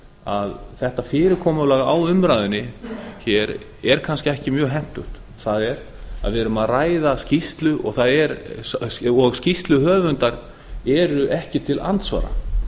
að þetta fyrirkomulag á umræðunni hér er kannski ekki mjög hentugt það er við erum að ræða skýrslu og skýrsluhöfundar eru ekki til andsvara